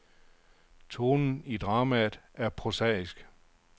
Tonen i dramaet er prosaisk.